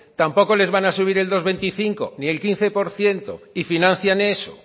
tampoco les van a subir el dos coma veinticinco ni el quince por ciento y financian eso